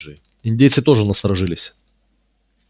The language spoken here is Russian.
индейцы тоже насторожились